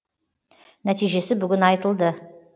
нәтижесі бүгін айтылды